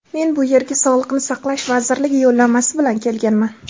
Men bu yerga sog‘liqni saqlash vazirligi yo‘llanmasi bilan kelganman.